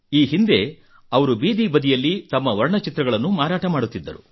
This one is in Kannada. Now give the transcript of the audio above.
ಈ ಹಿಂದೆ ಅವರು ಬೀದಿ ಬದಿಯಲ್ಲಿ ತಮ್ಮ ವರ್ಣಚಿತ್ರಗಳನ್ನು ಮಾರಾಟ ಮಾಡುತ್ತಿದ್ದರು